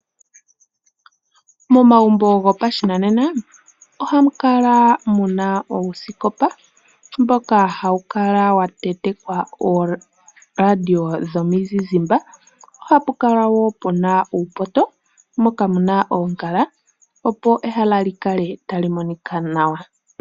Momagumbo gopashinanena ohamu kala muna uusikopa mboka hawu kala wa tentekwa ooradio dhomuzizimba. Ohapu kala woo puna uupoto mboka wa tentekwa oongala opo ehala likale tali monika nawa.